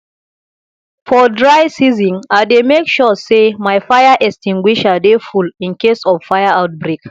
for dry season i dey mek sure say my fire extinguisher dey full incase of fire outbreak